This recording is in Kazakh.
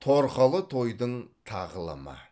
торқалы тойдың тағылымы